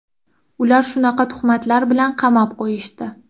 Ular shunaqa tuhmatlar bilan qamab qo‘yishdi.